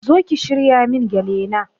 Zo ki shirya min gele na